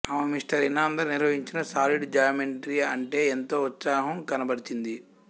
ఆమె మిస్టర్ ఇనాందార్ నిహ్వహించిన solid geometry అంటే ఎంతో ఉత్సాహం కనబరచింది